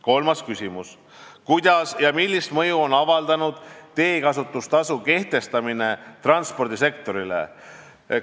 Kolmas küsimus: "Kuidas ja millist mõju on avaldanud teekasutustasu kehtestamine transpordisektorile?